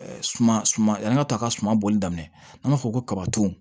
Suma suma yann'a ka taa ka suman bɔli daminɛ an b'a fɔ ko kabaton